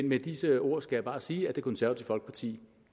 med disse ord skal jeg bare sige at det konservative folkeparti